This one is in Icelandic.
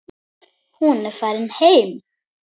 Hún er farin heim.